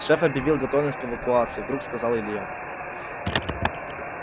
шеф объявил готовность к эвакуации вдруг сказал илья